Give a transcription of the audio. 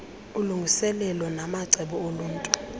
ulungiselelo namacebo okulwa